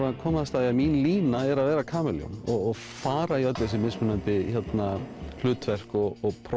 að komast að því að mín lína er að vera kamelljón og fara í öll þessi mismunandi hlutverk og prófa